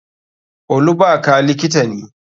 Olubaka likita ne.